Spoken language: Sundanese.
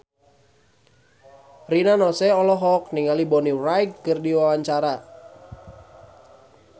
Rina Nose olohok ningali Bonnie Wright keur diwawancara